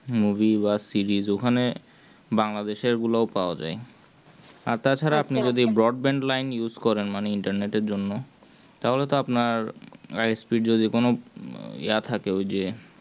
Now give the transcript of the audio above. movie বা series ওখানে Bangal এর গুলো পাওয়া যায়। আর তাছাড়া আপনি যদি broadband করেন internet জন্য। তাহলে তো আপনার speed যদি কোন থাকে ওই যে